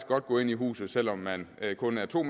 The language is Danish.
godt gå ind i huset selv om man kun er to